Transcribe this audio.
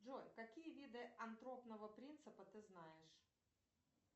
джой какие виды антропного принципа ты знаешь